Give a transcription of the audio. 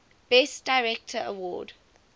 best director award